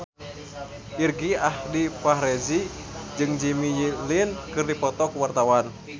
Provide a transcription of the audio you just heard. Irgi Ahmad Fahrezi jeung Jimmy Lin keur dipoto ku wartawan